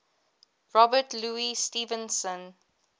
robert louis stevenson